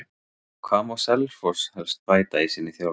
Hvað má Selfoss helst bæta í sinni þjálfun?